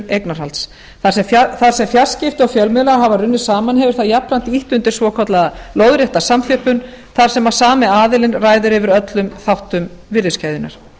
eignarhalds þar sem fjarskipti og fjölmiðlar hafa runnið saman hefur það jafnframt ýtt undir svokallaða lóðrétta samþjöppun þar sem sami aðilinn ræður yfir öllum þáttum virðis keðjunnar